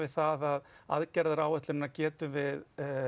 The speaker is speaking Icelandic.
það að aðgerðaráætlunina getum við